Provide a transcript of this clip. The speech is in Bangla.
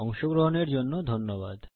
অংশগ্রহনের জন্য ধন্যবাদ